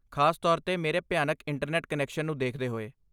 ਖਾਸ ਤੌਰ 'ਤੇ ਮੇਰੇ ਭਿਆਨਕ ਇੰਟਰਨੈਟ ਕਨੈਕਸ਼ਨ ਨੂੰ ਦੇਖਦੇ ਹੋਏ।